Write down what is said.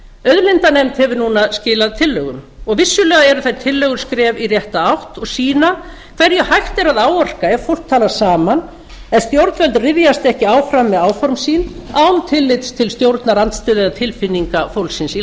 auðlindanefnd hefur núna skilað tillögum og vissulega eru þær tillögur skref í rétta átt og sýna hverju hægt er að áorka ef fólk talar saman ef stjórnvöld ryðjast ekki áfram með áform sín án tillits til stjórnarandstöðu eða tilfinninga fólksins í